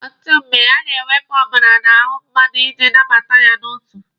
Ọtụtụ mgbe, a na-ewepụ ọbara n'ahụ mmadụ iji nabata ya n'otu.